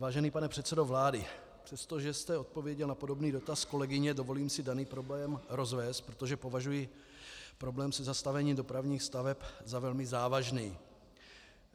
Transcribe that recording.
Vážený pane předsedo vlády, přestože jste odpověděl na podobný dotaz kolegyně, dovolím si daný problém rozvést, protože považuji problém se zastavením dopravních staveb za velmi závažný.